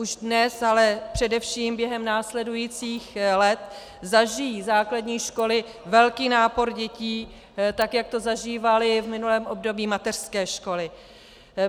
Už dnes, ale především během následujících let zažijí základní školy velký nápor dětí, tak jak to zažívaly v minulém období mateřské školy.